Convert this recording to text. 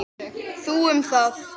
Þú um það.